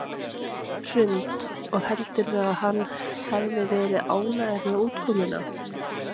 Hrund: Og heldurðu að hann hefði verið ánægður með útkomuna?